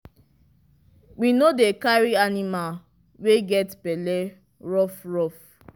we no dey carry aniamal wey get belle rough rough